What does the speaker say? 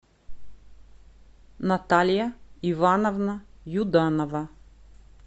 наталья ивановна юданова